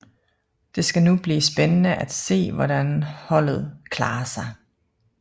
Det skal nu blive spændende at se hvordan holdet klarer sig